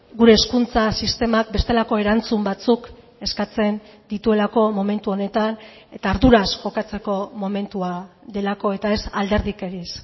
gure hezkuntza sistemak bestelako erantzun batzuk eskatzen dituelako momentu honetan eta arduraz jokatzeko momentua delako eta ez alderdikeriz